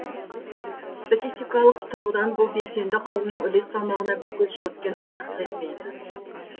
статистикалық тұрғыдан бұл белсенді қауымның үлес салмағына бір көз жүгірткен артықтық етпейді